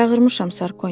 Çağırmışam Sarkoni.